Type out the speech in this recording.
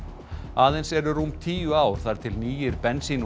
aðeins eru rúm tíu ár þar til nýir bensín